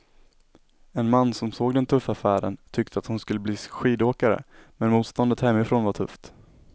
En man som såg den tuffa färden tyckte att hon skulle bli skidåkare, men motståndet hemifrån var tufft.